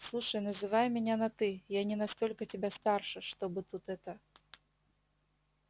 слушай называй меня на ты я не настолько тебя старше чтобы тут это